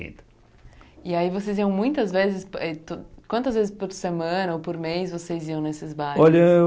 E aí vocês iam muitas vezes, eh quantas vezes por semana ou por mês vocês iam nesses bailes? Olha